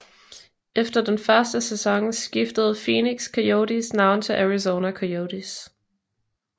Efter den første sæson skiftede Phoenix Coyotes navn til Arizona Coyotes